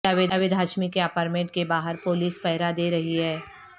جاوید ہاشمی کے اپارٹمنٹ کے باہر پولیس پہرہ دے رہی ہے